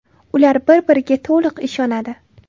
Ular bir-biriga to‘liq ishonadi.